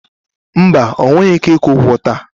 Mba, ọ nweghị ike ịkwụ ụgwọ taa.